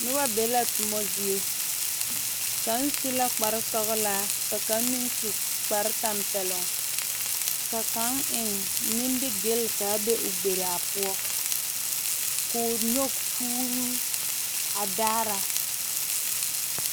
Noba be la toma zie kaŋ su la kpar sɔgelaa ka kaŋa meŋ su kpar tɛmpeloŋ ka kaŋ nimingeli ka a be o gbiraa poɔ ko o nyɔge kuruu a a daara